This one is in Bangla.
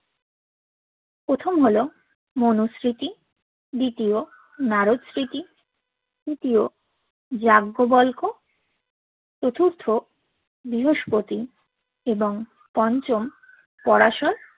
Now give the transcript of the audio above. প্রথম হল মনো স্মৃতি দ্বিতীয় নারদস্মৃতি তৃতীয় যাজ্ঞবোল্গো চতুর্থ বৃহস্পতি এবং পঞ্চম পরাশর